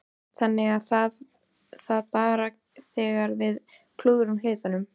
Þannig er það bara þegar við klúðrum hlutunum.